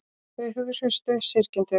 Þau hughreystu syrgjendur